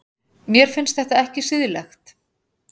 Mér finnst þetta ekki siðlegt.